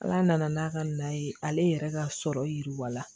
Ala nana n'a ka na ye ale yɛrɛ ka sɔrɔ yiriwala